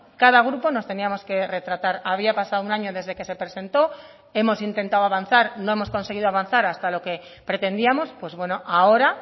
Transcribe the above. cada grupo nos teníamos que retratar había pasado un año desde que se presentó hemos intentado avanzar no hemos conseguido avanzar hasta lo que pretendíamos pues bueno ahora